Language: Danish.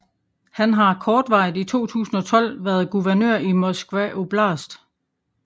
Han har kortvarigt i 2012 været guvernør i Moskva oblast